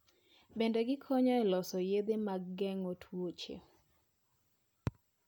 Bende gikonyo e loso yedhe mag geng'o tuoche.